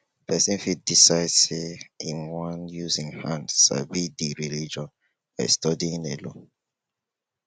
person fit decide sey im wan use im hand sabi di religion by studying alone